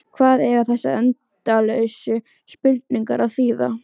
Hvað eiga þessar endalausu spurningar að þýða?